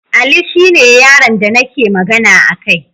Ali shine yaron da nake magana akai